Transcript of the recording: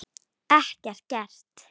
Ekkert gert?